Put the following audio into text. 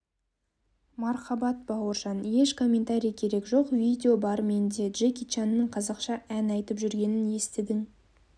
мархабат бауыржан еш коментарий керек жоқ видео бар менде джеки чанның қазақша ән айтып жүргенін естідің